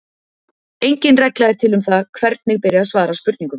Engin regla er til um það hvernig beri að svara spurningum.